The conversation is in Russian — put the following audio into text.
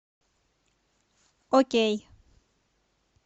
окей